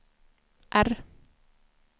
R